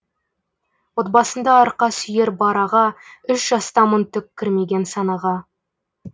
отбасында арқа сүйер бар аға үш жастамын түк кірмеген санаға